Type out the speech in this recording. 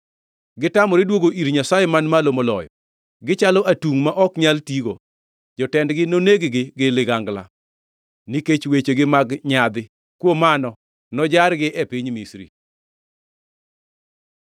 Gitamore duogo ir Nyasaye Man Malo Moloyo; gichalo atungʼ ma ok nyal tigo. Jotendgi noneg gi ligangla nikech wechegi mag nyadhi. Kuom mano nojargi e piny Misri.”